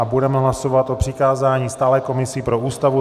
A budeme hlasovat o přikázání stálé komisi pro Ústavu.